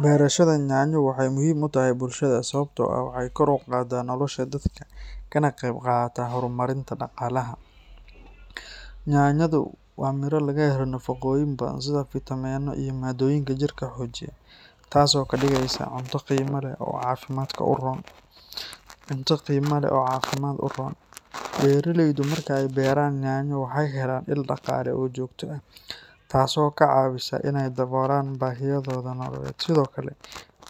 Beerashada yaanyo waxay muhiim u tahay bulshada sababtoo ah waxay kor u qaaddaa nolosha dadka kana qayb qaadataa horumarinta dhaqaalaha. Yaanyadu waa midho laga helo nafaqooyin badan sida fiitamiinnada iyo maadooyinka jirka xoojiya, taasoo ka dhigaysa cunto qiimo leh oo caafimaad u roon. Beeraleydu marka ay beeraan yaanyo waxay helaan il dhaqaale oo joogto ah, taasoo ka caawisa inay daboolaan baahiyahooda nololeed. Sidoo kale,